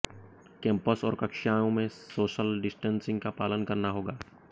campus और कक्षाओं में सोशल डिस्टेंसिंग का पालन करना होगा